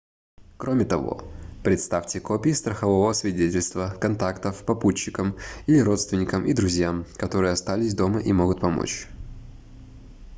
кроме того предоставьте копии страхового свидетельства/контактов попутчикам или родственникам и друзьям которые остались дома и могут помочь